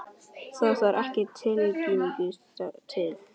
Það þarf ekki Tyrki til.